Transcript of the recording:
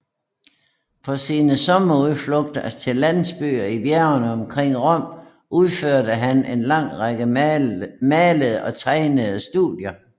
På sine sommerudflugter til landsbyer i bjergene omkring Rom udførte han en lang række malede og tegnede studier